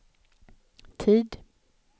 tid